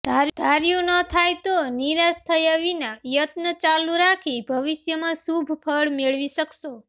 ધાર્યું ન થાય તો નિરાશ થયા વિના યત્ન ચાલુ રાખી ભવિષ્યમાં શુભ ફળ મેળવી શકશો